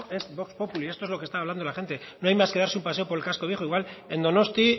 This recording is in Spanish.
es vox populi esto es lo que está hablando la gente no hay más que darse un paseo por el casco viejo igual en donostia